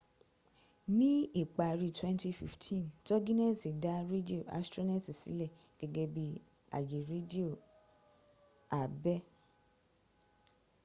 ní ìparí 2015 togineti dá rédíò astroneti sílẹ̀ gẹ́gẹ́ bí àyè rédíò àbẹ́